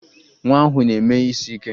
Nwa ahụ na-eme isiike